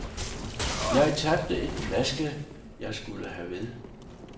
Jeg tabte den flaske, jeg skulle have ved